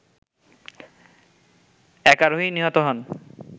এক আরোহী নিহত হন